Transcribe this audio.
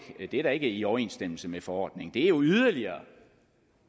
er i overensstemmelse med forordningen det er jo yderligere